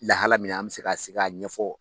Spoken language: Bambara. Lahala min an bɛ se k'a sigi k'a ɲɛfɔ